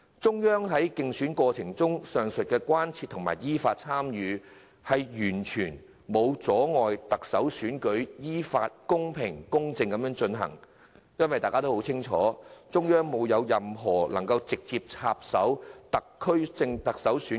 中央對競選過程表示關切，其間依法參與，完全沒有阻礙特首選舉依法、公平、公正的進行，大家都很清楚並無具體證據顯示中央直接插手特首選舉。